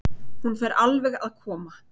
Hún fer alveg að koma.